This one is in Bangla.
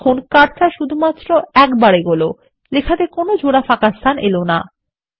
দেখুন কার্সার শুধুমাত্র একটিবার এগোলো এবং লেখাতে জোড়া ফাঁকাস্থান এলো না